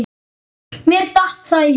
Mér datt það í hug!